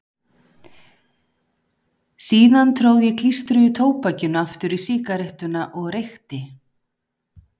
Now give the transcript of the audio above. Síðan tróð ég klístruðu tóbakinu aftur í sígarettuna og reykti.